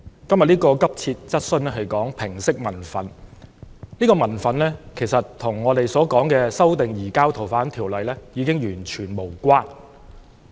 今天這項急切質詢是關於平息民憤，今天的民憤其實與修訂《逃犯條例》已經完全無關。